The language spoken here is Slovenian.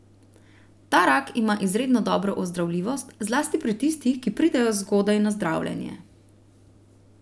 Ta rak ima izredno dobro ozdravljivost, zlasti pri tistih, ki pridejo zgodaj na zdravljenje.